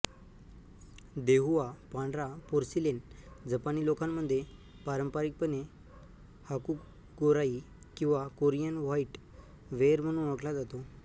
देहुआ पांढरा पोर्सिलेन जपानी लोकांमध्ये पारंपारिकपणे हाकुगोराई किंवा कोरियन व्हाईट वेअर म्हणून ओळखला जातो